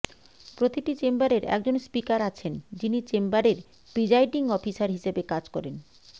প্রতিটি চেম্বারের একজন স্পিকার আছেন যিনি চেম্বারের প্রিজাইডিং অফিসার হিসেবে কাজ করেন